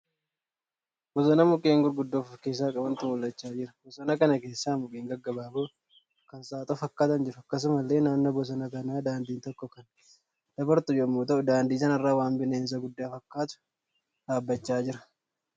Bosona mukkeen gurguddoo of keessaa qabantu mul'achaa jira. Bosona kana keessa mukeen gaggabaaboo kan saaxoo fakkaatan jiru. Akkasumallee naannoo bosona kanaa daandiin tokko kan keessa dabartu yemmuu ta'uu daandii sanarra waan bineensa guddaa fakkaatu dhaabbachaa jira.